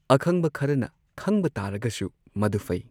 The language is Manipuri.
ꯑꯈꯪꯕ ꯈꯔꯅ ꯈꯪꯕ ꯇꯥꯔꯒꯁꯨ ꯃꯗꯨ ꯐꯩ꯫